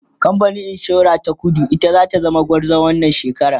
kamfanin insura ta kudu ita zata zama gwarzon wannan shekara